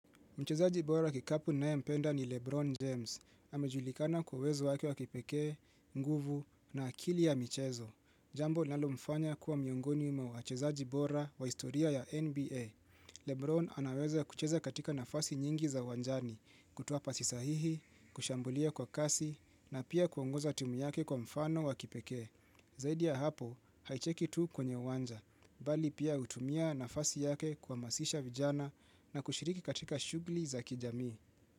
Mchezaji bora kikapu ninaye mpenda ni Lebron James. Amejulikana kwa uwezo wake wa kipekee, nguvu na akili ya michezo. Jambo linalomfanya kuwa miongoni mwa wachezaji bora wa historia ya NBA. Lebron anaweza kucheza katika nafasi nyingi za uwanjani, kutuoa pasi sahihi, kushambulia kwa kasi, na pia kuongoza timu yake kwa mfano wa kipekee. Zaidi ya hapo, haicheki tu kwenye uwanja, bali pia hutumia nafasi yake kwa kuhamazisha vijana na kushiriki katika shughuli za kijamii.